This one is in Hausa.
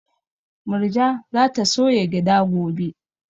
Murja za ta soya gyada gobe